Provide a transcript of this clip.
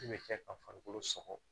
Min bɛ kɛ ka farikolo sɔgɔ